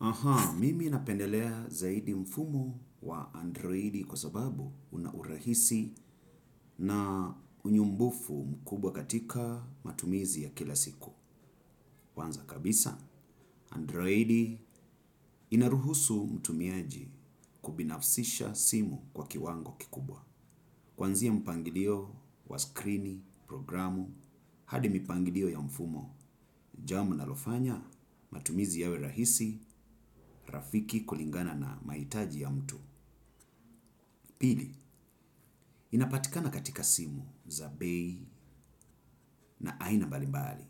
Aha, mimi napendelea zaidi mfumo wa androidi kwa sababu unaurahisi na unyumbufu mkubwa katika matumizi ya kila siku. Kwanza kabisa, androidi inaruhusu mtumiaji kubinafsisha simu kwa kiwango kikubwa. Kuanzia mpangilio wa scrini, programu, hadi mipangilio ya mfumo, jambo linalo fanya, matumizi yawe rahisi, rafiki kulingana na mahitaji ya mtu. Pili, inapatikana katika simu za bei na aina mbali mbali.